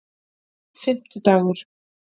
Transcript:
fimmtudagur